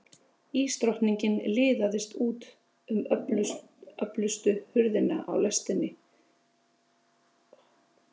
Ísdrottningin liðaðist út um öftustu hurðina á lestinni og svif í átt að lestarpallinum.